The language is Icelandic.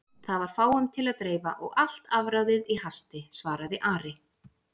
Það var fáum til að dreifa og allt afráðið í hasti, svaraði Ari.